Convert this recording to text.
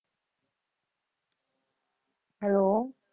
Hello